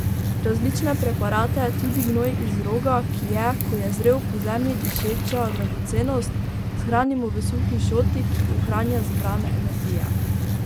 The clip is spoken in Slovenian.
Različne preparate, tudi gnoj iz roga, ki je, ko je zrel, po zemlji dišeča dragocenost, shranimo v suhi šoti, ki ohranja zbrane energije.